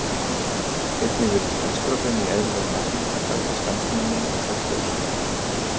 Einnig virðist estrógen í eðlilegu magni bæta skammtímaminni og frjósemi.